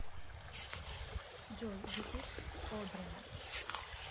джой ютуб одрина